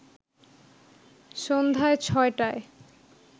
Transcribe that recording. সন্ধ্যায় ৬টায়